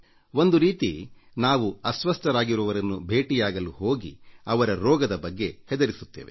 ಒಂದು ರೀತಿ ನಾವು ಅಸ್ವಸ್ಥರಾಗಿರುವವರನ್ನು ಭೇಟಿಯಾಗಲು ಹೋಗಿ ಅವರ ರೋಗದ ಬಗ್ಗೆ ಹೆದರಿಸುತ್ತೇವೆ